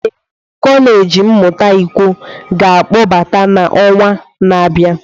Ee, kọleji mmụta ikwo ga-akpọkọta na ọnwa na-abịa.